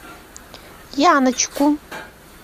яночку